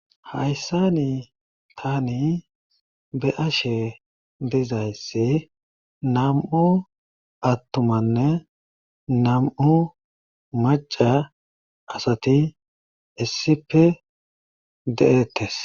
Hayssani taani be7ashe dizayssi nam7u attuamnne nam7u macca asati issippe de7eettees.